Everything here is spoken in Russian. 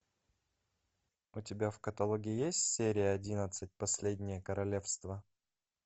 у тебя в каталоге есть серия одиннадцать последнее королевство